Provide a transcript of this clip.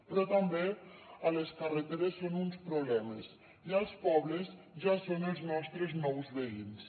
però també a les carreteres són un problema i als pobles ja són els nostres nous veïns